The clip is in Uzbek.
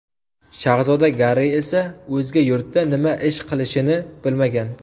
Shahzoda Garri esa o‘zga yurtda nima ish qilishini bilmagan.